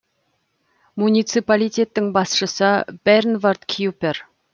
муниципалитеттің басшысы бернвард кюпер